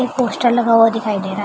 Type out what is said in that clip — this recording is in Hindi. एक पोस्टर लगा हुआ दिखाई दे रहा है ।